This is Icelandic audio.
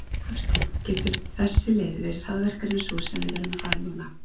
Hafsteinn: Getur þessi leið verið hraðvirkari en sú sem við erum að fara núna?